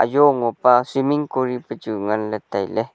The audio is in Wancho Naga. jo ngopa cement kori pe chu nganle taile.